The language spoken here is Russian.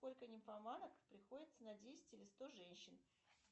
сколько нимфоманок приходится на десять или сто женщин